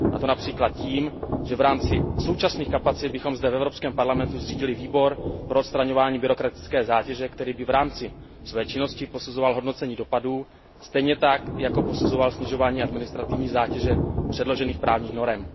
A to například tím, že v rámci současných kapacit bychom zde v Evropském parlamentu zřídili výbor pro odstraňovaní byrokratické zátěže, který by v rámci své činnosti posuzoval hodnocení dopadů, stejně tak jako by posuzoval snižování administrativní zátěže předložených právních norem.